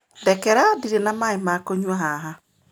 Ndekera, ndirĩ na maaĩ ma kũnyua haha.